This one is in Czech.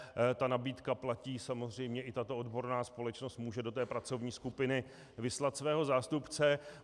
Ta nabídka platí samozřejmě, i tato odborná společnost může do té pracovní skupiny vyslat svého zástupce.